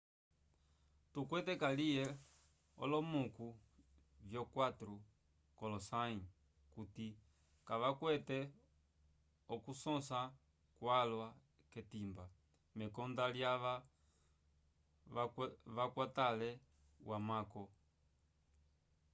tukwete kaliye olomuku vyo 4 k'olosãyi kuti kavakwete okusõsa kwalwa k'etimba mekonda lyava vakwatele wamako